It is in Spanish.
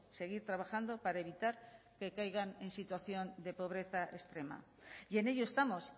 seguir trabajando para evitar que caigan en situación de pobreza extrema y en ello estamos